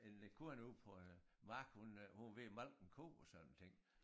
En øh kone ude på en mark hun øh hun var ved at malke en ko og sådan nogle ting